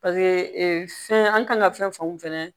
paseke ee fɛn an kan ka fɛn fan mun fɛnɛ